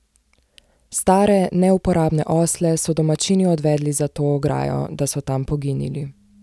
Stare, neuporabne osle so domačini odvedli za to ograjo, da so tam poginili.